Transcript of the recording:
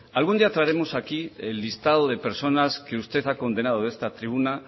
algún día traeremos aquí el listado de personas que usted ha condenado de esta tribuna